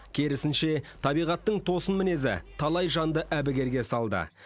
керісінше табиғаттың тосын мінезі талай жанды әбігерге салды